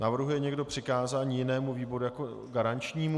Navrhuje někdo přikázání jinému výboru jako garančnímu?